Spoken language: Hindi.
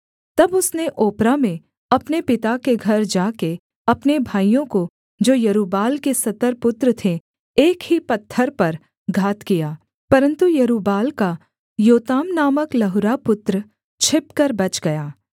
तब उसने ओप्रा में अपने पिता के घर जा के अपने भाइयों को जो यरूब्बाल के सत्तर पुत्र थे एक ही पत्थर पर घात किया परन्तु यरूब्बाल का योताम नामक लहुरा पुत्र छिपकर बच गया